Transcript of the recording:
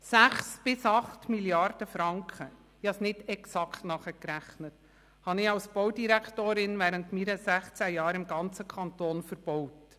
6 bis 8 Mrd. Franken – ich habe es nicht exakt nachgerechnet – habe ich als Baudirektorin während meiner sechzehn Jahre im ganzen Kanton verbaut.